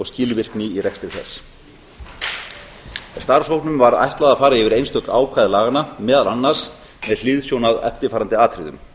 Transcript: skilvirkni í rekstri þess starfshópnum var ætlað að fara yfir einstök ákvæði laganna meðal annars með hliðsjón af eftirfarandi atriðum